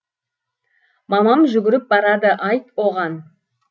мамам жүгіріп барады айт оған